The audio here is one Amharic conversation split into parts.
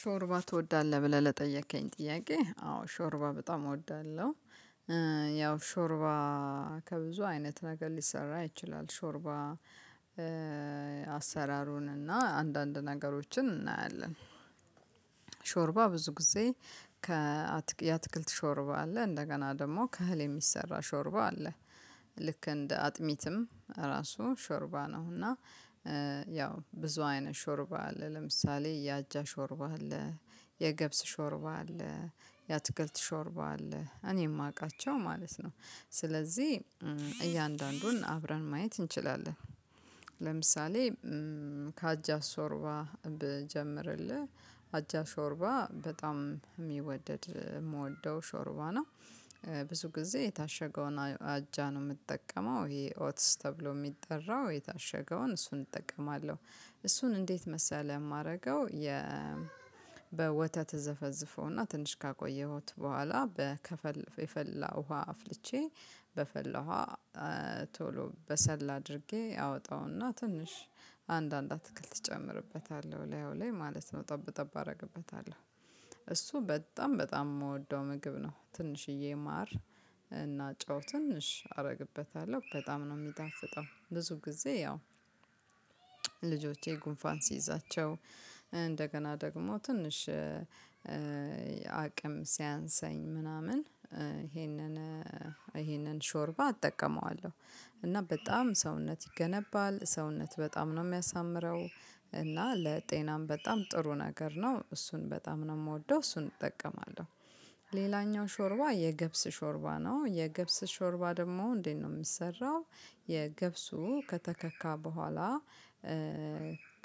ሾርባ ትወዳለህ ብለህ ለጠየከኝ ጥያቄ አዎ ሾርባ በጣም እወዳለሁ። ያው ሾርባ ከብዙ አይነት ነገር ሊሰራ ይችላል ሾርባ። አሰራሩን እና አንዳንድ ነገሮችን እናያለን። ሾርባ ብዙ ጊዜ ከ የአትክልት ሾርባ አለ እንደገና ደግሞ ከእህል የሚሰራ ሾርባ አለ። ልክ እንደ አጥሚትም ራሱ ሾርባ ነው እና። ያው ብዙ አይነት ሾርባ አለ ለምሳሌ የአጃ ሾርባ አለ የገብስ ሾርባ አለ የአትክልት ሾርባ አለ እኔ የማውቃቸው ማለት ነው። ስለዚህ እያንዳንዱን አብረን ማየት እንችላለን። ለምሳሌ ከአጃ ሾርባ ብጀምርልህ አጃ ሾርባ በጣም የሚወደድ የምወደው ሾርባ ነው። ብዙ ጊዜ የታሸገውን አጃ ነው የምጠቀመው ይሄ ኦትስ ተብሎ የሚጠራው የታሸገውን እሱን እጠቀማለሁ። እሱን እንዴት መሰለህ የማደርገው የ በወተት እዘፈዝፎና ትንሽ ካቆየሁት በኋላ በከፊል የፈላ ውሃ አፍልቼ በፈላው ቶሎ በሰል አድርጌ አወጣውና ትንሽ አንድ አንድ አትክልት እጨምርበታለሁ እላዩ ላይ ማለት ነው ጠብ ጠብ አደርግበታለሁ። እሱ በጣም በጣም የምወደው ምግብ ነው። ትንሽዬ ማር እና ጨው ትንሽ አደርግበታለሁ በጣም ነው የሚጣፍጠው። ብዙ ጊዜ ያው ልጆቼ ጉንፋን ሲይዛቸው እንደገና ደግሞ ትንሽ አቅም ሲያንሰኝ ምናምን ይሄንን ሾርባ አጠቀመዋለሁ። እና በጣም ሰውነት ይገነባል ሰውነት በጣም ነው የሚያሳምረው። እና ለጤናም በጣም ጥሩ ነገር ነው እሱን በጣም ነው የምወደው እሱን እጠቀማለሁ። ሾርባ የገብስ ሾርባ ነው የገብስ ሾርባ ደግሞ እንዴት ነው የሚሰራው? የገብሱ ከተከካ በኋላ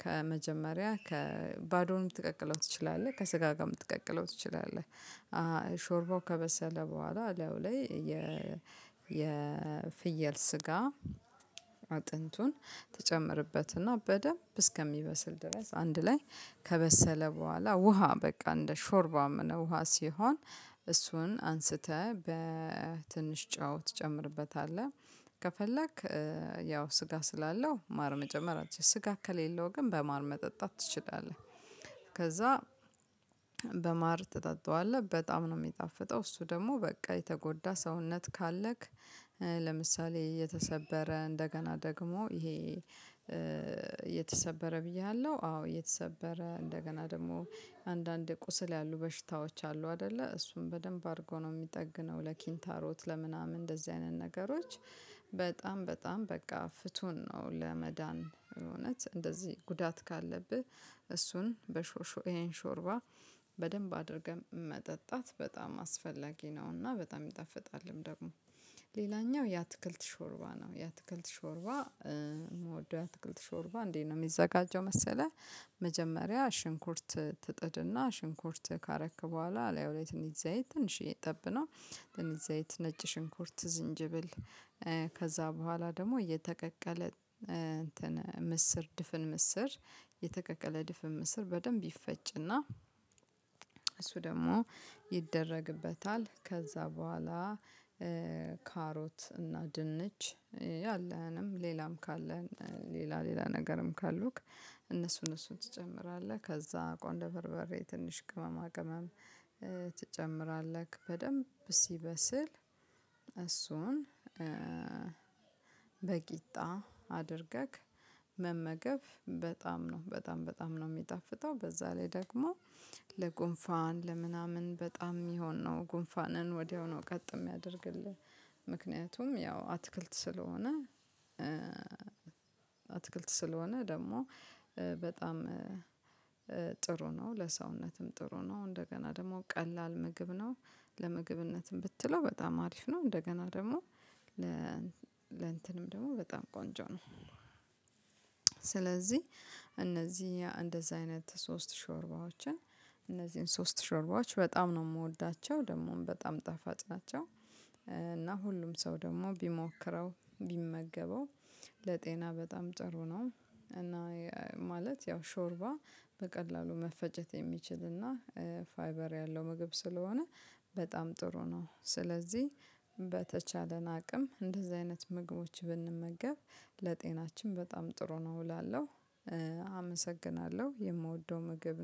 ከመጀመሪያ ከባዶንም ልትቀቅለው ትችላለህ ከስጋ ጋር ልትቀቅለው ትችላለህ። ሾርባው ከበሰለ በኋላ እላዩ ላይ የ የፍየል ስጋ አጥንቱን ትጨምርበትና በደንብ እስከሚበስል ድረስ አንድ ላይ ከበሰለ በኋላ ውሃ በቃ እንደ ሾርባ ውሃ ሲሆን እሱን አንስተህ በትንሽ ጨው ትጨምርበታለህ። ከፈለክ ያው ስጋ ስላለው ማር መጨመር አትችልም ስጋ ከሌለው ግን በማር መጠጣት ትችላለህ። ከዛ በማር ትጠጣዋለህ በጣም ነው የሚጣፍጠው። እሱ ደግሞ በቃ የተጎዳ ሰውነት ካለክ ለምሳሌ የተሰበረ እንደገና ደግሞ ይሄ የተሰበረ ብያለሁ አዎ የተሰበረ እንደገና ደግሞ አንዳንዴ ቁስል ያሉ በሽታዎች አሉ አይደለ እሱም በደንብ አድርጎ ነው የሚጠግነው። ለኪንታሮት ለምናምን እንደዚህ አይነት ነገሮች በጣም በጣም በቃ ፍቱን ነው። ለመዳን እውነት እንደዚህ ጉዳት ካለብህ እሱን በሾርሾር ይሄን ሾርባ በደንብ አድርገን መጠጣት በጣም አስፈላጊ ነውና። በጣም ይጣፍጣልም ደግሞ ሌላኛው የአትክልት ሾርባ ነው። የአትክልት ሾርባ የምወደው የአትክልት ሾርባ እንዴት ነው የሚዘጋጀው መሰለህ? መጀመሪያ ሽንኩርት ትጥድና ሽንኩርት ካረክ በኋላ እላዩ ላይ ትንሽ ዘይት ትንሽዬ ጠብ ነው ትንሽ ዘይት ነጭ ሽንኩርት ዝንጅብል ከዛ በኋላ ደግሞ የተቀቀለ ምስር ድፍን ምስር የተቀቀለ ድፍን ምስር በደንብ ይፈጭና እሱ ደግሞ ይደረግበታል። ከዛ በኋላ ካሮት እና ድንች ያለህንም ሌላም ካለን ሌላ ሌላ ነገርም ካሉክ እሱን ትጨምራለህ ከዛ ቆንደ በርበሬ ትንሽ ቅመማ ቅመም ትጨምራለህ በደንብ ሲበስል እሱን በቂጣ አድርገህ መመገብ በጣም ነው በጣም በጣም ነው የሚጣፍጠው በዛ ላይ ደግሞ ለጉንፋን ለምናምን በጣም የሚሆን ነው ጉንፋንን ወዲያው ነው ቀጥ የሚያደርግልህ ያው አትክልት ስለሆነ አትክልት ስለሆነ ደግሞ በጣም ጥሩ ነው። ለሰውነትም ጥሩ ነው። እንደገና ደግሞ ቀላል ምግብ ነው። ለምግብነትም ብትለው በጣም አሪፍ ነው። እንደገና ደግሞ ለእንትንም ደግሞ በጣም ቆንጆ ነው። ስለዚህ እነዚህ እንደዚህ አይነት ሶስት ሾርባዎችን እነዚህን ሶስት ሾርባዎች በጣም ነው የምወዳቸው ደግሞም በጣም ጣፋጭ ናቸው። እና ሁሉም ሰው ደግሞ ቢሞክረው ቢመገበው ለጤና በጣም ጥሩ ነው። እና ማለት ያው ሾርባ በቀላሉ መፈጨት የሚችልና ፋይበር ያለው ምግብ ስለሆነ በጣም ጥሩ ነው። ስለዚህ በተቻለን አቅም እንደዚህ አይነት ምግቦች ብንመገብ ለጤናችን በጣም ጥሩ ነው እላለሁ። አመሰግናለሁ የምወደው ምግብ ነው